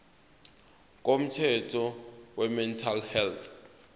komthetho wemental health